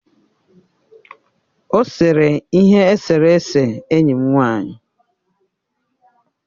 Ọ sere ihe eserese enyi m nwanyị.